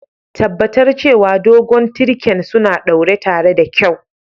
Tabatar cewa dogon tirken suna ɗaure tare da kyau.